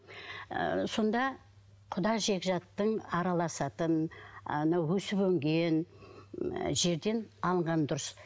ыыы сонда құда жекжаттың араласатын анау өсіп өнген ы жерден алған дұрыс